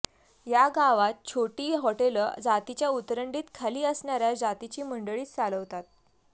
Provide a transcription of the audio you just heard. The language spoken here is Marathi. या गावात छोटी हॉटेलं जातीच्या उतरंडीत खाली असणाऱ्या जातीची मंडळीच चालवतात